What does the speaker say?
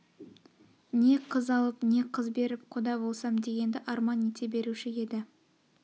не қыз алып не қыз берп құда болсам дегенді арман ете беруші еді